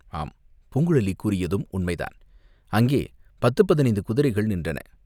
ஆம் பூங்குழலி கூறியதும் உண்மைதான், அங்கே பத்துப் பதினைந்து குதிரைகள் நின்றன.